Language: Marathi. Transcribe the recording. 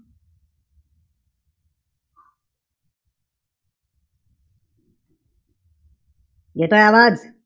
येतोय आवाज?